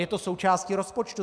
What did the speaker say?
Je to součástí rozpočtu.